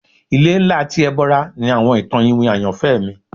Ile nla ti Ebora ni awọn itan iwin ayanfẹ mi